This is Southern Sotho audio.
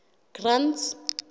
grant's